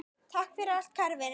Takk fyrir allt kæri Vinur.